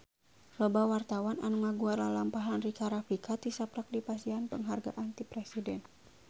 Loba wartawan anu ngaguar lalampahan Rika Rafika tisaprak dipasihan panghargaan ti Presiden